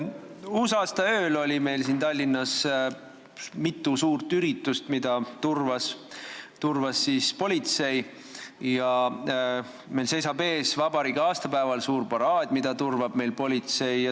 Uusaastaööl oli Tallinnas mitu suurt üritust, mida turvas politsei, ja meil seisab vabariigi aastapäeval ees suur paraad, mida turvab politsei.